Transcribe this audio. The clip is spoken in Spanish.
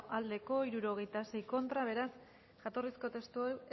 aldekoa sesenta y seis contra beraz jatorrizko testua